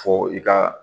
Fɔ i ka